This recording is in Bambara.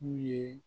N'u ye